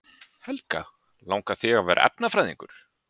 Helga: Langar þig að verða efnafræðingur?